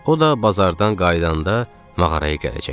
O da bazardan qayıdanda mağaraya gələcəkdi.